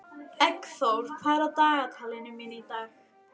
Eggþór, hvað er á dagatalinu mínu í dag?